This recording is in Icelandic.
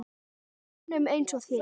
Mönnum eins og þér?